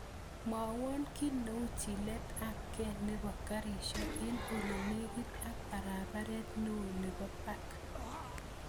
Mwowon ki neu chilet ap karishek en ole negit ak paraparet neo nepo park